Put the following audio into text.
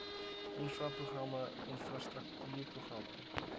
infra programme infrastruktuurprogramme